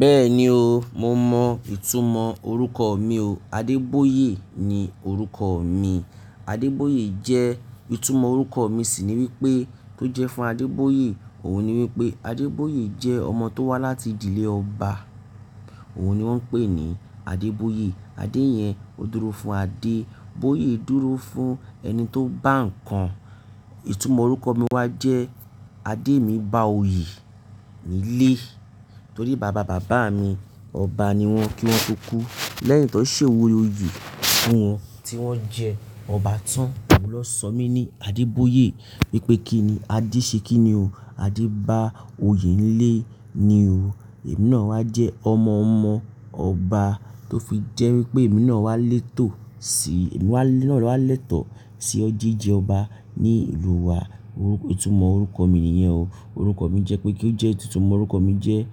Bẹ́ẹ̀ni o, mo mọ ìtumọ̀ orúkọ mi o. Adeboye ni orúkọ mi. Adeboye jẹ́, ìtumọ̀ orúkọ mi sì ni wípé tó jẹ́ fún Adeboye òun ni wípé Adeboye jẹ́ ọmọ tó wá láti ìdílé ọba. Òun ni wón ń pè ní Adeboye. Adé yẹn ó dúró fún Adé. Boye dúró fún ẹni tó bá ń kan. Ìtumọ̀ orúkọ mi wá jẹ́ Adé mi bá oyè nílé. Torí bàbá bàbá mi ọba ni wọn kí wọ́n tó kú. Lẹ́yìn tó ṣe òwúrọ̀ oyè fún wọn tí wọ́n jẹ ọba tán. Òun lọ sọ mí ní Adeboye. Wípé kí ni Adé ṣe kí ni o. Adé bá oyè nílé ni o. Emí náà wá jẹ́ ọmọ-ọmọ ọba tó fi jẹ́ wípé emí náà wá létò sí, ẹ̀mí náà wá lẹ́tọ̀ sí jìjẹ ọba ní ìlú wa. Orúkọ, ìtumọ̀ orúkọ mi nìyẹn o. Orúkọ mi jẹ́ pé kí ó jẹ́ ìtumọ̀ orúkọ mi jẹ́